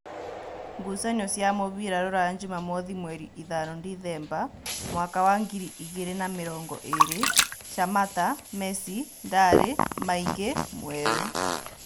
Ngucanio cia mũbira Ruraya Jumamothi mweri ithano ndithemba mwaka wa ngiri igĩrĩ na namĩrongoĩrĩ: Shamata, Mesi, Ndari, Maingĩ, Mwerũ